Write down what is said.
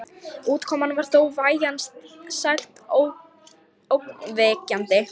Útkoman var þó vægast sagt ógnvekjandi.